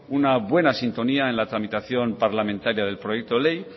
una buena sintonía en la tramitación parlamentaria del proyecto de ley